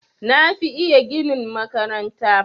Na fi iya ginin makaranta.